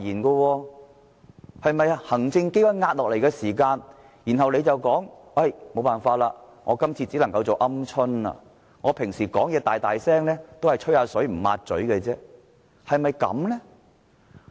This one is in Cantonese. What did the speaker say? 是否當行政機關壓下來時，他便說沒辦法，只能夠做"鵪鶉"，平時說話聲大大，都只是"吹水不抹嘴"，是否這樣呢？